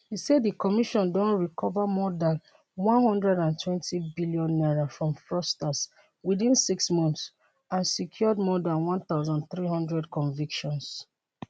e say di commission don recover more dan n120billion from fraudsters within six months and secured more dan 1300 convictions